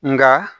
Nka